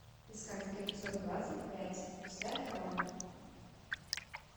искать эпизод двадцать пять пустая корона